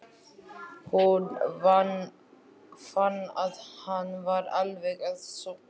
Hún fann að hann var alveg að sofna.